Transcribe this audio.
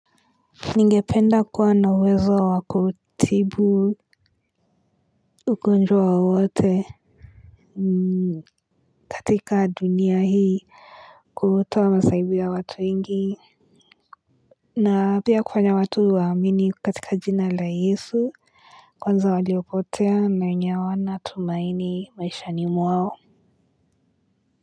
Ningependa kua na wezo wakutibu ugonjwa wawote katika dunia hii. Kuhutawa masahibi ya watu ingi na pia kwanya watu waamini katika jina la Yesu kwanza waliokotea na wenye awana tumaini maishani mwao.